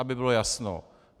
Aby bylo jasno.